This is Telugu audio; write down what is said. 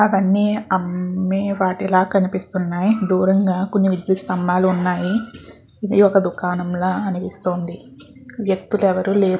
నాకు అన్ని అమ్మె వాటి లాగా కనిపిస్తున్నాయి దూరంగా కొన్ని విద్యుత్ స్తంబాలు ఉన్నాయి ఇది ఒక దుకాణం ల అనిపిస్తుంది వ్యక్తులు ఎవరు లేరు.